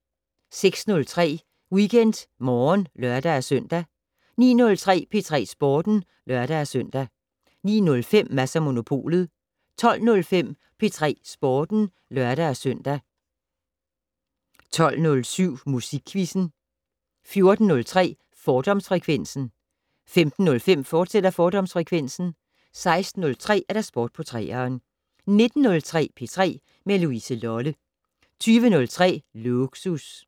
06:03: WeekendMorgen (lør-søn) 09:03: P3 Sporten (lør-søn) 09:05: Mads & Monopolet 12:05: P3 Sporten (lør-søn) 12:07: Musikquizzen 14:03: Fordomsfrekvensen 15:05: Fordomsfrekvensen, fortsat 16:03: Sport på 3'eren 19:03: P3 med Louise Lolle 20:03: Lågsus